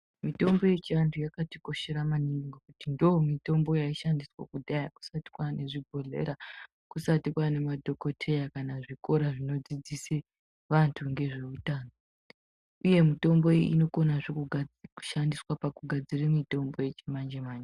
Mitombo yechiantu yakatikoshera maningi ngekuti ndomitombo yaishandiswa kudhaya kusati kwane zvobhodhleya kusati kwane madhokoteya kana zvikora zvinodzidzise vantu ngezveuno, uye mitombo iyi inokonazve kushandiswa pakugadzira mitombo yechimanje-manje.